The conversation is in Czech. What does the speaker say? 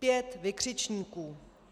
Pět vykřičníků.